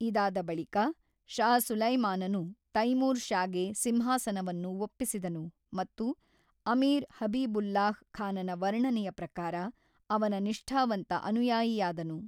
ಇದಾದ ಬಳಿಕ, ಷಾ ಸುಲೈಮಾನನು ತೈಮೂರ್ ಷಾಗೆ ಸಿಂಹಾಸನವನ್ನು ಒಪ್ಪಿಸಿದನು ಮತ್ತು ಅಮೀರ್ ಹಬೀಬುಲ್ಲಾಹ್ ಖಾನನ ವರ್ಣನೆಯ ಪ್ರಕಾರ, ಅವನ ನಿಷ್ಠಾವಂತ ಅನುಯಾಯಿಯಾದನು.